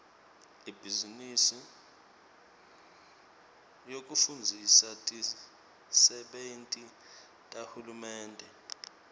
ibhizinisi yekufundzisa tisebenti tahulumende